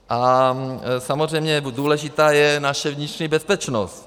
A samozřejmě důležitá je naše vnitřní bezpečnost.